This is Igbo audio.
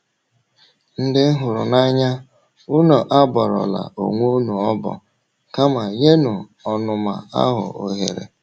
Ndị m hụrụ n’anya, unu abọrọla onwe unu ọbọ, kama nyenụ ọnụma ahụ ohere. ”